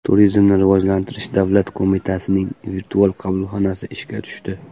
Turizmni rivojlantirish davlat qo‘mitasining virtual qabulxonasi ishga tushdi.